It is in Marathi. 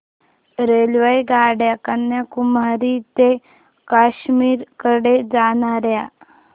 रेल्वेगाड्या कन्याकुमारी ते काश्मीर कडे जाणाऱ्या